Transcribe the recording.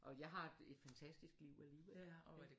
Og jeg har et fantastisk liv alligevel og